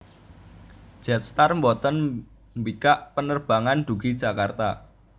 Jetstar mboten mbikak penerbangan dugi Jakarta